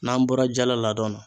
N'an bɔra jala ladɔn na